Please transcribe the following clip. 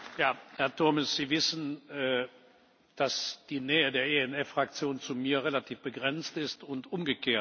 Herr Turmes! Sie wissen, dass die Nähe der ENF Fraktion zu mir relativ begrenzt ist und umgekehrt.